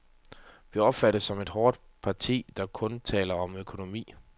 Vi opfattes som et hårdt parti, der kun taler om økonomi.